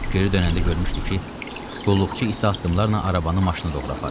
Geri dönəndə görmüşdü ki, qulluqçu iti addımlarla arabanı maşına doğru aparır.